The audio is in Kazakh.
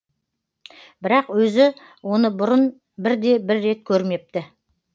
бірақ өзі оны бұрын бірде бір рет көрмепті